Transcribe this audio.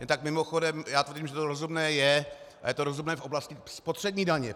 Jen tak mimochodem, já tvrdím, že to rozumné je a je to rozumné v oblasti spotřební daně.